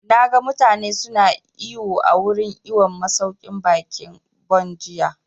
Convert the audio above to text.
Na ga mutane su na iwo a wurin iwon masauƙin baƙin Bon jiya